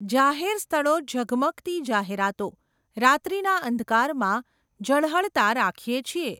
જાહેર સ્થળો ઝગમગતી જાહેરાતો, રાત્રિના અંધકારમાં ઝળહળતા રાખીએ છીએ.